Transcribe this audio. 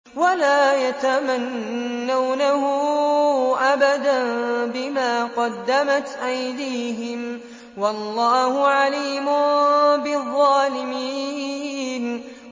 وَلَا يَتَمَنَّوْنَهُ أَبَدًا بِمَا قَدَّمَتْ أَيْدِيهِمْ ۚ وَاللَّهُ عَلِيمٌ بِالظَّالِمِينَ